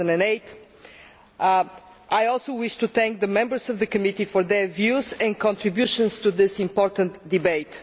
2008. I also wish to thank the members of the committee for their views and contributions to this important debate.